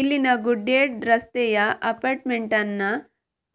ಇಲ್ಲಿನ ಗೂಡ್ಶೆಡ್ ರಸ್ತೆಯ ಅಪಾರ್ಟ್ಮೆಂಟ್ನ